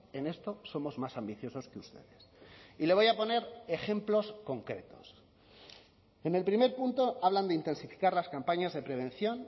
en esto somos más ambiciosos que ustedes y le voy a poner ejemplos concretos en el primer punto hablan de intensificar las campañas de prevención